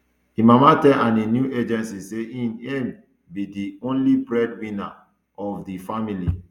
im mama tell ani new agency say be di only breadwinner ofr di family